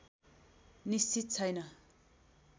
निश्चित छैन